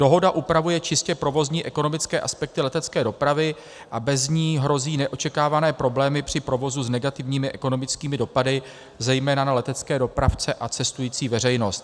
Dohoda upravuje čistě provozní ekonomické aspekty letecké dopravy a bez ní hrozí neočekávané problémy při provozu s negativními ekonomickými dopady zejména na letecké dopravce a cestující veřejnost.